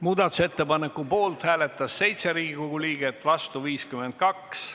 Muudatusettepaneku poolt hääletas 7 Riigikogu liiget, vastu 52.